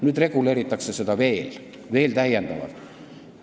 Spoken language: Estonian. Nüüd reguleeritakse seda veel täiendavalt.